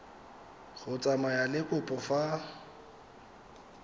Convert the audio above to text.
go tsamaya le kopo fa